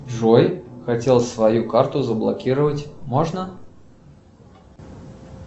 джой хотел свою карту заблокировать можно